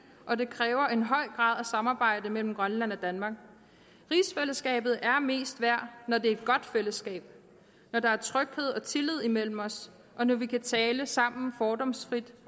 og det kræver en høj grad af samarbejde mellem grønland og danmark rigsfællesskabet er mest værd når det er et godt fællesskab når der er tryghed og tillid imellem os og når vi kan tale sammen fordomsfrit